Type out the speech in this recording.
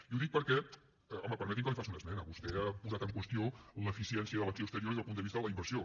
i ho dic perquè home permeti’m que li faci una esmena vostè ha posat en qüestió l’eficiència de l’acció exterior des del punt de vista de la inversió